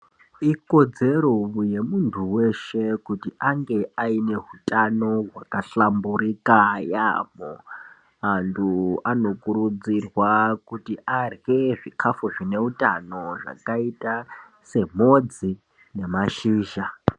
Ikodzero yemuntu weshe kuti ange ane hutano whaka hlamburika yaamho, antu ano kurudzirwa kuti kurye zvikafu zvine utano zvakaita semhodzi nemashizha.